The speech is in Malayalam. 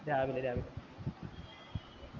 രാവിലെ രാവിലെ